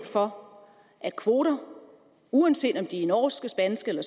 for at kvoter uanset om de er norske spanske eller